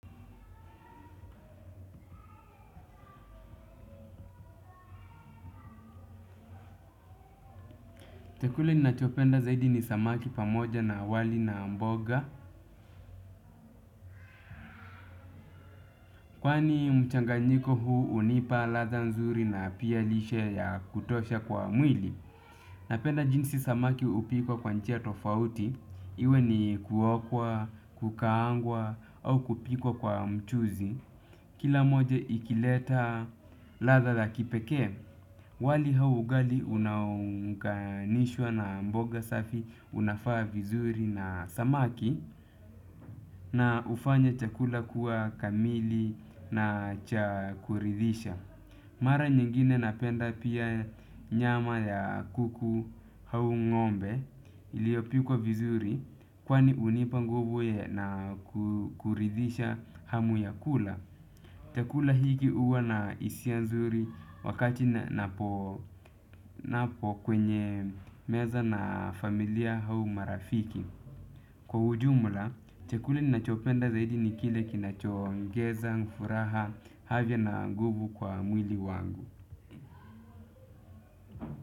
Chakula ninachopenda zaidi ni samaki pamoja na wali na mboga. Kwani mchanganyiko huu hunipa ladha nzuri na pia lishe ya kutosha kwa mwili. Napenda jinsi samaki hupikwa kwa njia tofauti. Iwe ni kuokwa, kukaangwa au kupikwa kwa mchuzi. Kila moja ikileta ladha la kipekee. Wali au ugali unanganishwa na mboga safi unafaa vizuri na samaki. Na hufanya chakula kuwa kamili na cha kuridhisha. Mara nyingine napenda pia nyama ya kuku au ngombe iliyopikwa vizuri kwani hunipa nguvu na kuridhisha hamu ya kula. Chakula hiki huwa na hisia nzuri wakati ninapo kwenye meza na familia au marafiki. Kwa ujumla, chakuli ninachopenda zaidi ni kile kinachoongeza, furaha, haja na nguvu kwa mwili wangu.